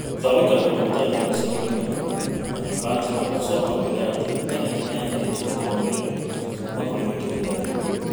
Thutha wa gũikara kũndũ gũtari na irio cia kũigana na nyũmba njega, Osogo augire ati tenethi ni ya heire Cheruto ũũmiriru kuma kũrĩ mĩtũũrĩre mĩũru.